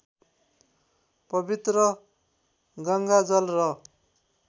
पवित्र गङ्गाजल र